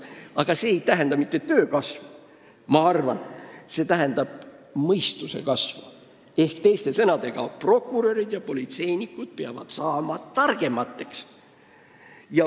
Aga ma arvan, et see ei tähenda mitte töö kasvu, vaid mõistuse kasvu: prokurörid ja politseinikud peavad saama targemaks.